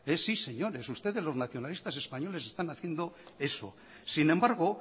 sí señores ustedes los nacionalistas españoles están haciendo eso sin embargo